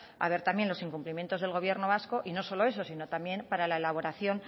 a ver también los incumplimientos del gobierno vasco y no solo eso sino también para la elaboración